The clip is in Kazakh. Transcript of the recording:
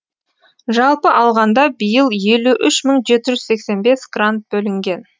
жалпы алғанда биыл елу үш мың жеті жүз сексен бес грант бөлінген